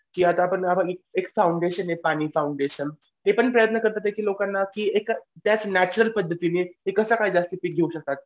की आता आपण एक फाउंडेशन आहे पाणी फाउंडेशन हे पण प्रयत्न करतातयेत की लोकांना एक त्याच नॅच्युरल पद्धतीने कसं काय जास्त पीक घेऊ शकतात.